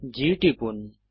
G টিপুন